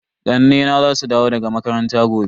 Ƙannena za su dawo daga makaranta gobe.